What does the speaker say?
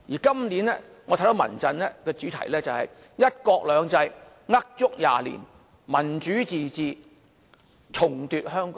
今年，我知道民陣的主題是"一國兩制呃足廿年；民主自治重奪香港"。